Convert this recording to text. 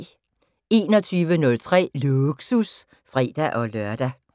21:03: Lågsus (fre-lør)